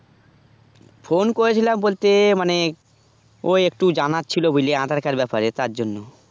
phone করেছিলাম বলতে মানে ওই একটু জানার ছিল বুজলি আধার কার্ড ব্যাপারে তারজন্য